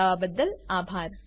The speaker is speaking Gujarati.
જોડાવા બદ્દલ આભાર